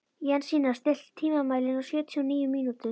Jensína, stilltu tímamælinn á sjötíu og níu mínútur.